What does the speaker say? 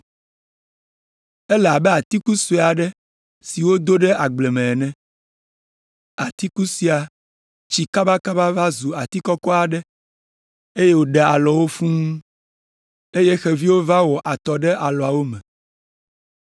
Ele abe atiku sue aɖe si wodo ɖe agble me ene. Atiku sia tsi kabakaba va zu ati kɔkɔ aɖe, eye wòɖe alɔwo fũu, eye xeviwo va wɔ atɔ ɖe alɔawo me.”